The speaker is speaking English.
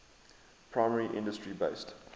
primary industry based